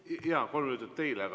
Jaa, palun, kolm minutit teile!